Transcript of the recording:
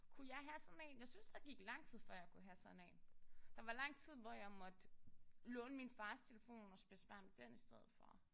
Kunne jeg have sådan en? Jeg synes der gik lang tid før jeg kunne have sådan en. Der var lang tid hvor jeg måtte låne min fars telefon og spille smart med den i stedet for